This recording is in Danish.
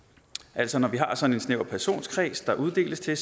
altså når vi har sådan en snæver personkreds der uddeles til